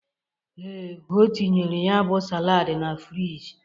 Ee, o tinyere ya bụ salaadị na friji.